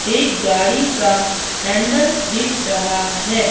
एक गाड़ी का हैंडल दिख रहा है।